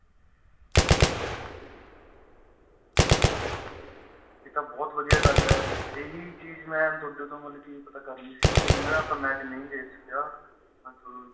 ਏਹ ਤਾਂ ਬਹੁਤ ਵਧੀਆ ਗੱਲ ਏ ਏਹੀ ਚੀਜ ਮੈਂ ਤੁਹਾਡੇ ਤੋ ਮਤਲਬ ਕਿ ਪਤਾ ਕਰਨੀ ਸੀ ਜਿਵੇਂ ਏ ਆਪਾ match ਨਹੀਂ ਦੇਖ ਸਕਿਆ